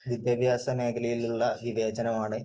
വിദ്യാഭ്യാസ മേഖലയിലുള്ള വിവേചനമാണ്